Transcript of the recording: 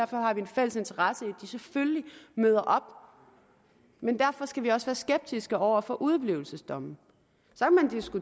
har vi en fælles interesse i at de selvfølgelig møder op men derfor skal vi også være skeptiske over for udeblivelsesdomme